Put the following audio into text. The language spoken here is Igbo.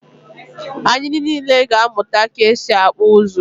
ạnyị niile ga-amụta ka e si akpụ ụzụ.